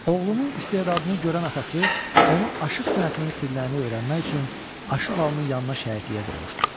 Oğlunun istedadını görən atası onu aşıq sənətinin sirlərini öyrənmək üçün Aşıq Alının yanına şagirdliyə qoymuşdur.